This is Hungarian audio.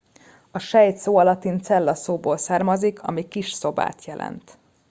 a sejt szó a latin cella szóból származik ami kis szobát jelent